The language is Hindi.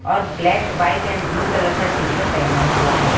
और ब्लैक व्हाइट एंड ब्ल्यू तलर कलर का टी शर्ट पहेना हुआ है।